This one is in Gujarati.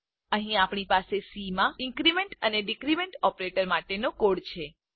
અહીં આપણી પાસે સી માં ઇન્ક્રીમેન્ટ અને ડીક્રીમેન્ટ ઓપરેટર માટેનો કોડ છે